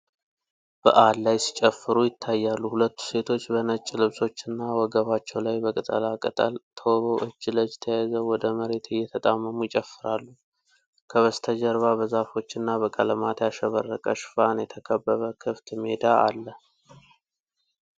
በዓል ላይ ሲጨፍሩ ይታያሉ። ሁለቱ ሴቶች በነጭ ልብሶች እና ወገባቸው ላይ በቅጠላ ቅጠል ተውበው እጅ ለእጅ ተያይዘው ወደ መሬት እየተጣመሙ ይጨፍራሉ። ከበስተጀርባ በዛፎች እና በቀለማት ያሸበረቀ ሽፋን የተከበበ ክፍት ሜዳ አለ።